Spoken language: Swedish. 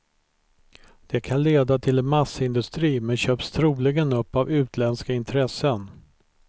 Det kan leda till en massindustri men köps troligen upp av utländska intressen.